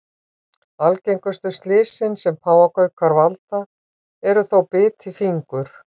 Algengustu slysin sem páfagaukar valda eru þó bit í fingur.